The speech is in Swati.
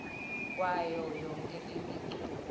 kwayo yonkhe imiculu